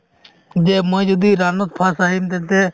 যে মই যদি run ত first আহিম তেন্তে